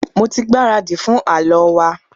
Mo tí gbáradi fún àlọ wa.